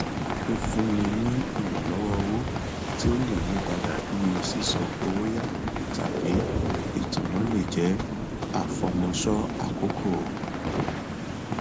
fífúnni ní ìrànlọwọ owó tí ó lè yípadà bíi sísan owó yá tàbí itanna le jẹ àfọmọṣọ àkókò